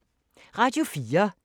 Radio 4